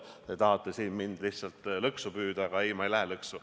Te tahate siin mind lihtsalt lõksu püüda, aga ei, ma ei lähe lõksu.